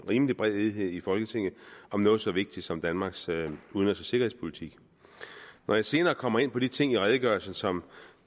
rimelig bred enighed i folketinget om noget så vigtigt som danmarks udenrigs og sikkerhedspolitik når jeg senere kommer ind på de ting i redegørelsen som